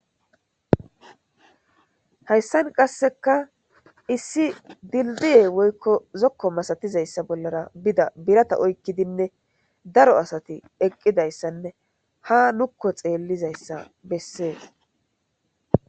Hayssan qasseka issi dilddiye woykko zokko masatizayssa bollara bida birata oykkidinne daro asati eqqidayssanne ha nukko xeellizayssa bessees.